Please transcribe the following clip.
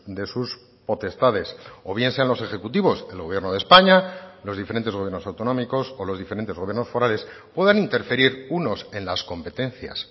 de sus potestades o bien sean los ejecutivos el gobierno de españa los diferentes gobiernos autonómicos o los diferentes gobiernos forales puedan interferir unos en las competencias